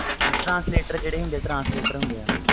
ਜਿੰਦਾ translator ਹੁੰਦੇ ਵ